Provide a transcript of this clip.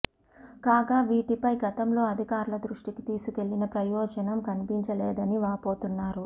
కాగా వీటిపై గతంలో అధికారుల దృష్టికి తీసుకెళ్లిన ప్రయోజనం కనిపించలేదని వాపోతున్నారు